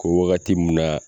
Ko wagati mun na